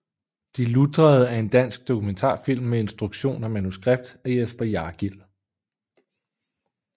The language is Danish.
De lutrede er en dansk dokumentarfilm med instruktion og manuskript af Jesper Jargil